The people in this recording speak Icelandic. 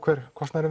kostnaðinn